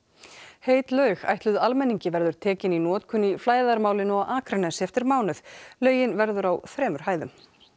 heit laug ætluð almenningi verður tekin í notkun í flæðarmálinu á Akranesi eftir mánuð laugin verður á þremur hæðum